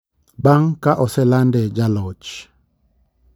Bang ka oselande jaloch,